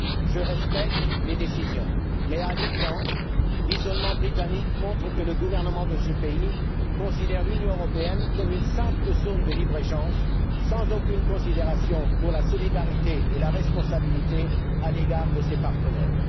Je respecte les décisions mais, à l'évidence, l'isolement britannique montre que le gouvernement de ce pays voit l'Union européenne comme une simple zone de libre échange, sans aucune considération pour la solidarité et pour la responsabilité à l'égard de ses partenaires.